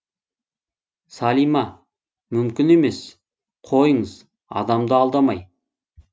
салима мүмкін емес қойыңыз адамды алдамай